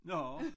Nå